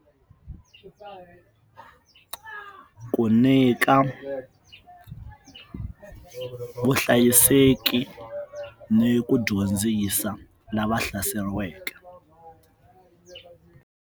Ku nyika vuhlayiseki ni ku dyondzisa lava hlaseriweke.